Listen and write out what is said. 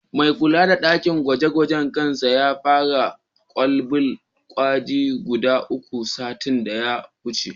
Mai kula da ɗakin gwaje-gwajen da kansa ya fasa kwalaben gwaji guda uku, satin da ya wuce.